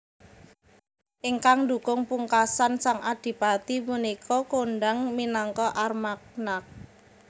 Ingkang ndukung pungkasan sang Adipati punika kondhang minangka Armagnac